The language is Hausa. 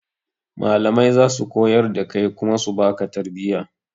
Malamai zasu koyar da kai kuma su baka tarbiya